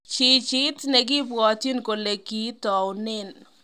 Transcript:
jijiit ne kibwotyini kole kiitounen